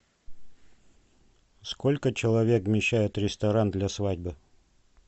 сколько человек вмещает ресторан для свадьбы